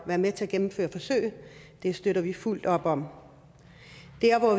være med til at gennemføre forsøg det støtter vi fuldt op om